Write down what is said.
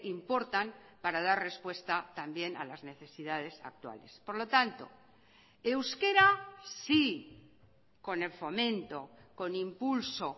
importan para dar respuesta también a las necesidades actuales por lo tanto euskera sí con el fomento con impulso